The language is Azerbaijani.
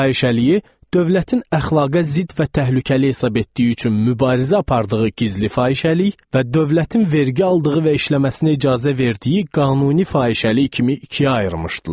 Fahişəliyi, dövlətin əxlaqa zidd və təhlükəli hesab etdiyi üçün mübarizə apardığı gizli fahişəlik və dövlətin vergi aldığı və işləməsinə icazə verdiyi qanuni fahişəlik kimi ikiyə ayırmışdılar.